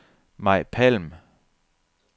Maj Palm